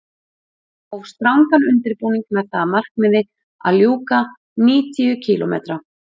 Ég hóf strangan undirbúning með það að markmiði að ljúka níutíu kílómetra